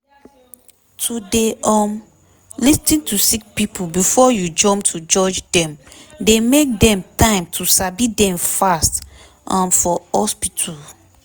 to dey um lis ten to sick pipo before u jump to judge dem dey make dem time to sabi dem fast um for hospitu